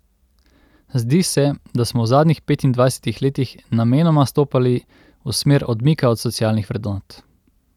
Zdi se, da smo v zadnjih petindvajsetih letih namenoma stopali v smer odmika od socialnih vrednot.